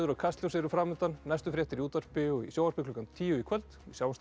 Kastljós eru fram undan næstu fréttir í útvarpi og í sjónvarpi klukkan tíu í kvöld sjáumst þá